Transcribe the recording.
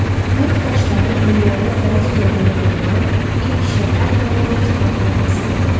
Neft daşları dünyada dəniz üzərində qurulan ilk şəhər və neft platformasıdır.